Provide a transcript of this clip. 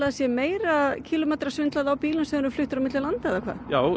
það sé meira kílómetra svindl a bilum sem eru fluttir milli landa já